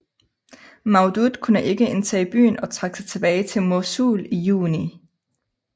Mawdud kunne ikke indtage byen og trak sig tilbage til Mosul i juni